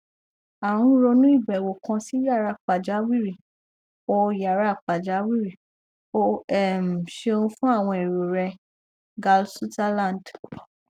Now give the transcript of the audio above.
a n ronu ibewo kan si yara pajawiri o yara pajawiri o um ṣeun fun awọn ero rẹ gale sutherland